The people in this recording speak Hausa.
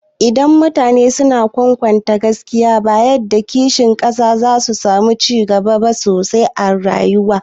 Idan mutane suna kwatanta gaskiya, amana, biyayya, da kishin ƙasar su, za'a samu cigaba sosai a rayuwa.